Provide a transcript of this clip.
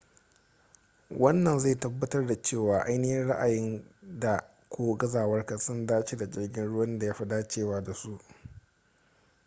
wannan zai tabbatar da cewa ainihi ra’ayinka da/ko gazawarka sun dace da jirgin ruwan da ya fi dacewa da su